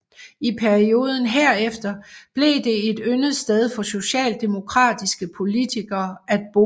I perioden herefter blev det et yndet sted for socialdemokratiske politikere at bo